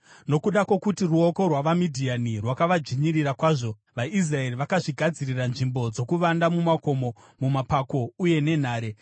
Nokuda kwokuti ruoko rwavaMidhiani rwakavadzvinyirira kwazvo, vaIsraeri vakazvigadzirira nzvimbo dzokuvanda mumakomo, mumapako uye nenhare.